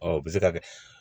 Ɔ o bɛ se ka kɛ